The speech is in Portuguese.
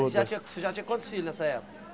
Você já tinha você já tinha quantos filhos nessa época?